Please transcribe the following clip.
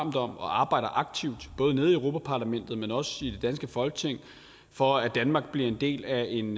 op om og arbejder aktivt både nede i europa parlamentet men også i det danske folketing for at danmark bliver en del af en